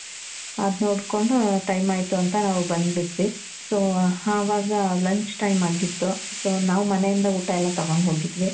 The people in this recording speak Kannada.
ಅದ್ ನೋಡ್ಕೊಂಡು time ಆಯ್ತು ಅಂತ ನಾವ್ ಬಂದು ಬಿಟ್ವಿ. so ಆವಾಗ lunch ಟೈಮ್ ಅಗಿತ್ತು. ನಾವು ಮನೆ ಇಂದ ಎಲ್ಲಾ ಊಟ ತಗೊಂಡು ಹೋಗಿದ್ವಿ.